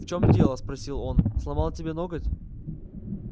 в чём дело спросил он сломал тебе ноготь